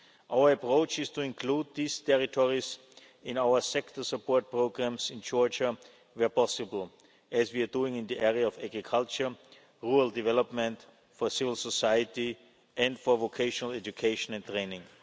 Our approach is to include these territories in our sector support programmes in Georgia, where possible, as we are doing in the area of agriculture, rural development, for civil society, and for vocational education and training.